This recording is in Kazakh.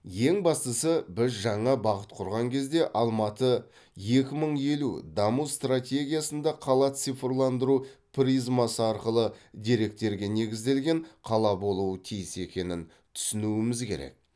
ең бастысы біз жаңа бағыт құрған кезде алматы екі мың елу даму стратегиясында қала цифрландыру призмасы арқылы деректерге негізделген қала болуы тиіс екенін түсінуіміз керек